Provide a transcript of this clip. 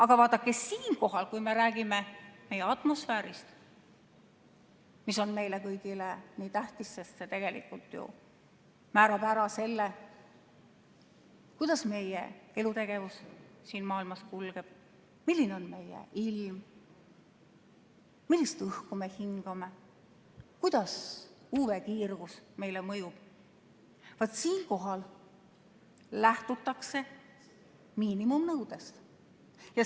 Aga vaadake, kui me räägime atmosfäärist, mis on meile kõigile nii tähtis, sest see tegelikult ju määrab ära selle, kuidas meie elutegevus siin maailmas kulgeb, milline on meie ilm, millist õhku me hingame, kuidas UV-kiirgus mõjub, siis vaat siinkohal lähtutakse miinimumnõudest.